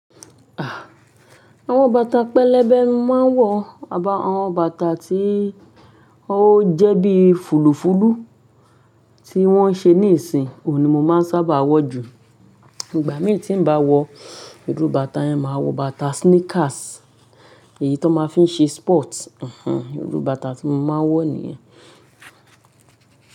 À, àwọn bàtà pẹlẹbẹ máa ń wọ àbá àwọn bàtà tí ó jẹ́ bí fùlùfùlù tí wọ́n ṣe níìsín, òun ni mo máa ń sábà wọ̀ jù. Ìgbà mí tí n bá wọ ìrú bàtà yẹn, máa wọ bàtà sneakers èyí tó máa ń fi ṣe sport, ìrú bàtà tí mo máa ń wọ̀ nìyẹn.